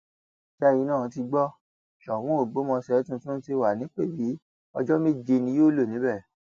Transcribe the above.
ṣẹyìn náà ti gbọ sóun ọgbọmọṣẹ tuntun ti wà nípẹbì ọjọ méje ni yóò lò níbẹ